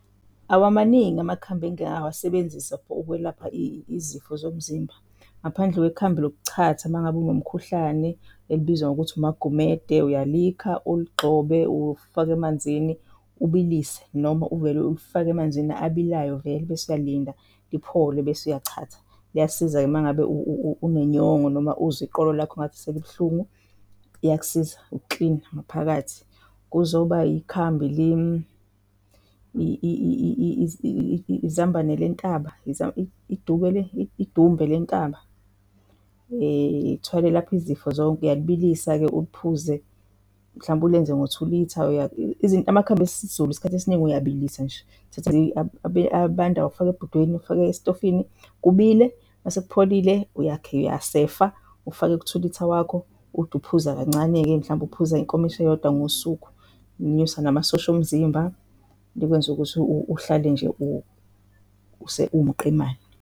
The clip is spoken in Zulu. Awamaningi amakhambi engike ngawasebenzisa for ukwelapha izifo zomzimba ngaphandle kwekhambi lokuchatha mangabe unomkhuhlane elibizwa ngokuthi umaGumede. Uyalikha, uligxobe, ufake emanzini ubilise noma uvele ulifake emanzini abilayo vele bese uyalinda liphole bese uyachatha. Liyasiza-ke uma ngabe unenyongo noma uzwa iqolo lakho ngathi selibuhlungu iyakusiza ukukilina ngaphakathi. Kuzoba ikhambi le izambane lentaba, idube, idumbe lentaba lithwele lapho izifo zonke uyalibilisa-ke, uphuze mhlawumbe ulenze ngothulitha izinto amakhambi esiZulu isikhathi esiningi uyabilisa nje. Uthathe abandayo ufake ebhodweni, ufake esitofini kubile mase kupholile, uyakha, uyasefa, ufake kuthulitha wakho ude uphuza kancane-ke, mhlampe uphuza inkomishi eyodwa ngosuku, unyuse namasosha omzimba likwenza ukuthi uhlale nje uwumqemane.